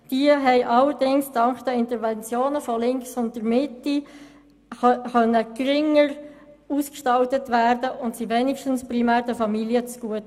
Diese konnten allerdings dank Interventionen von linker Seite und der Mitte geringer ausgestaltet werden und sie kamen wenigstens den Familien zugute.